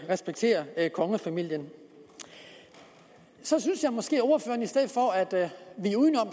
respektere kongefamilien så synes jeg måske at ordføreren i stedet for at vige udenom